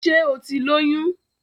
Ṣé o ti lóyùn?